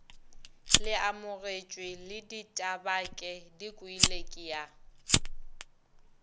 leamogetše le ditabake dikwele kea